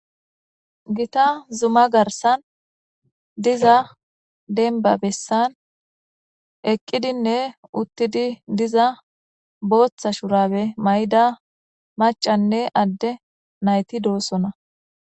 Gita zuma garsan diza denba bessan eqqidinne uttidi diza booththa shurabe may'da macanne adde nayti doossona.